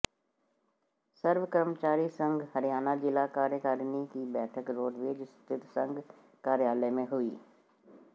सर्व कर्मचारी संघ हरियाणा जिला कार्यकारिणी की बैठक रोडवेज स्थित संघ कार्यालय में हुई